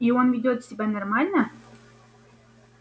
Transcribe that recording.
и он ведёт себя нормально